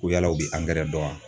Ko yala u bɛ dɔn wa?